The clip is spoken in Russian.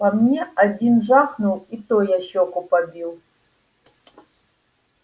по мне один жахнул и то я щеку побил